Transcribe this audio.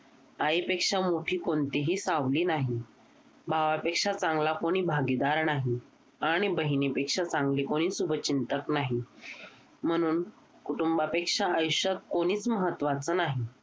आईपेक्षा मोठी कोणतीही सावली नाही भावापेक्षा चांगला कोणी भागीदार नाही आणि बहिणीपेक्षा चांगली कोणी शुभचिंतक नाही म्हणून कुटुंबापेक्षा आयुष्यात कोणीच महत्वाचं नाही